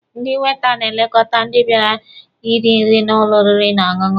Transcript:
Ndị weita na-elekọta ndị bịara iri nri n'ụlọ oriri na ọṅụṅụ.